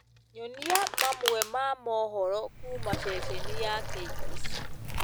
Nyonĩa mamwe ma mohoro kũũma sesheni ya K.B.C